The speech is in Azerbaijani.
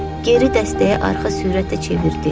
Geri dəstəyə arxa sürətlə çevirdi.